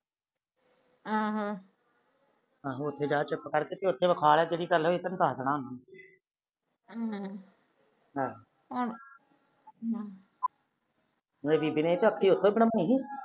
ਆਹੋ ਉਥੇ ਜਾ ਚੁਪ ਕਰੇਕ ਜਿਹੜੀ ਗੱਲ ਹੋਈ ਉਹ ਤੈਨੂੰ ਦੱਸ ਦੇਣਾ ਹਮ ਆਹ ਮੇਰੀ ਬੀਬੀ ਨੇ ਵੀ ਅੱਖ ਉਥੋ ਬਣਾਈ